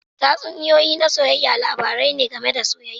Tatsuniyoyi na soyayya labarai ne game da soyayya.